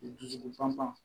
Dusukun pan pan